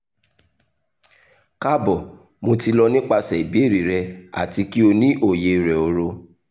kaabo mo ti lọ nipasẹ ibeere rẹ ati ki o ni oye rẹ oro